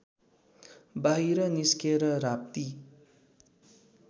बाहिर निस्केर राप्ती